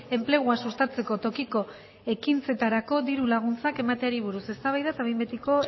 enplegua sustatzeko tokiko ekintzetarako diru laguntzak emateari buruz eztabaida eta behin betiko